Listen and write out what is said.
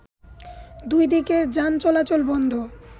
দুই দিকের যান চলাচল বন্ধ